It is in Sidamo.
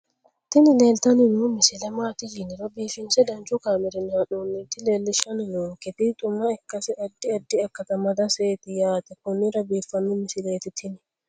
tini leeltanni noo misile maaati yiniro biifinse danchu kaamerinni haa'noonnita leellishshanni nonketi xuma ikkase addi addi akata amadaseeti yaate konnira biiffanno misileeti tini